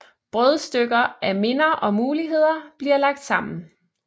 Brødstykker af minder og muligheder bliver lagt sammen